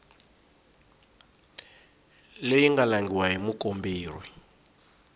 leyi nga langhiwa hi mukomberi